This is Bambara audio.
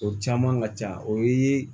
O caman ka ca o ye